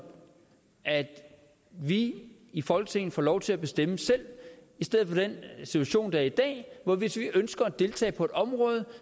at vi i folketinget får lov til at bestemme selv i stedet for den situation der er i dag hvor hvis vi ønsker at deltage på et område